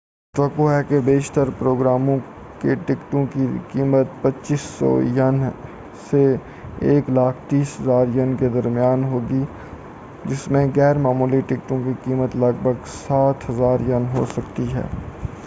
توقع ہے کہ بیشتر پروگراموں کے ٹکٹوں کی قیمت 2،500 ین سے، 130،000 ین کے درمیان ہوگی، جس میں غیر معمولی ٹکٹوں کی قیمت لگ بھگ 7000 ین ہوسکتی ہے۔